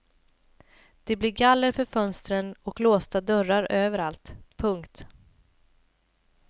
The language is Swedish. Det blir galler för fönstren och låsta dörrar överallt. punkt